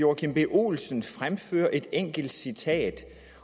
joachim b olsens fremfører et enkelt citat